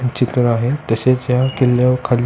चित्र आहे तशेच या किल्यावर खाली --